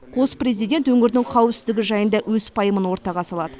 қос президент өңірдің қауіпсіздігі жайында өз пайымын ортаға салады